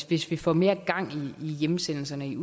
hvis vi får mere gang i hjemsendelserne